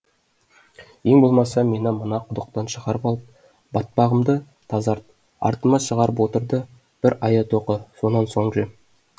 ең болмаса мені мына құдықтан шығарып алып батпағымды тазарт артыма шығып отыр да бір аят оқы сонан соң же